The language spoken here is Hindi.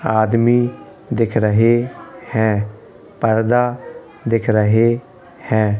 आदमी दिख रहे हैं पर्दा दिख रहे हैं।